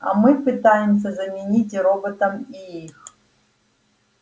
а мы пытаемся заменить роботам и их